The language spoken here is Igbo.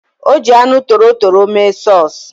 Ọ ji anụ torotoro mee sọs